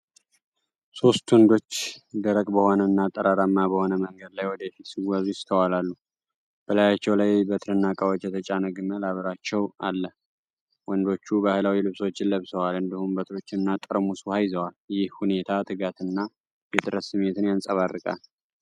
ሶስት ወንዶች ደረቅ በሆነ እና ጠጠራም በሆነ መንገድ ላይ ወደ ፊት ሲጓዙ ይስተዋላሉ። በላያቸው ላይ በትርና ዕቃዎች የተጫነ ግመል አብሯቸው አለ። ወንዶቹ ባህላዊ ልብሶችን ለብሰዋል እንዲሁም፤ በትሮችንና ጠርሙስ ውሃ ይዘዋል። ይህ ሁኔታ የትጋትና የጥረት ስሜትን ያንጸባርቃል።